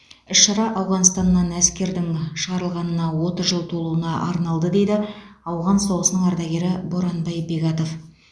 іс шара ауғанстаннан әскердің шығарылғанына отыз жыл толуына арналды дейді ауған соғысының ардагері боранбай бегатов